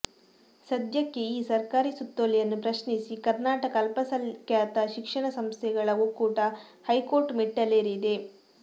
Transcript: ಸದ್ಯಕ್ಕೆ ಈ ಸರಕಾರಿ ಸುತ್ತೋಲೆಯನ್ನು ಪ್ರಶ್ನಿಸಿ ಕರ್ನಾಟಕ ಅಲ್ಪಸಂಖ್ಯಾತ ಶಿಕ್ಷಣ ಸಂಸ್ಥೆಗಳ ಒಕ್ಕೂಟ ಹೈಕೋರ್ಟ್ ಮೆಟ್ಟಿಲೇರಿದೆ